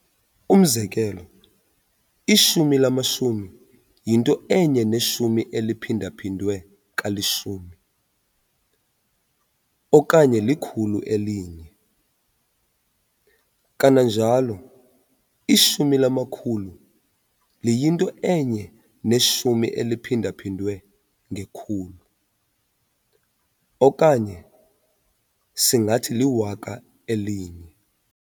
Umzekelo, ishumi lamashumi yinto enye neshumi eliphinda-phindwe kalishumi, okanye lilkhulu elinye. Kananjalo, ishumi lamakhulu liyinto enye neshumi eliphinda-phindwe ngekhulu, okanye singathi liwaka elinye.